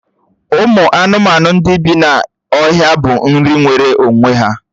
Ụmụ anụmanụ ndị bí n'ọhịa bụ nri nwere onwe ya